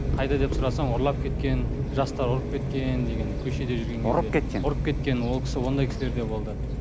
қайда деп сұрасаң ұрлап кеткен жастар ұрып кеткен деген көшеде жүрген ұрып кеткен ұрып кеткен ол кісі ондай кісілер де болды